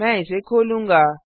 मैं इसे खोलूँगा